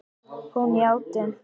Hún játti.